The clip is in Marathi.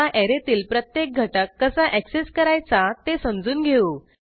आता ऍरेतील प्रत्येक घटक कसा ऍक्सेस करायचा ते समजून घेऊ